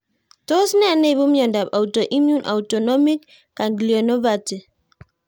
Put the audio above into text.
Tos nee neipu miondop autoimmune autonomic ganglionopathy?